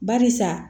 Barisa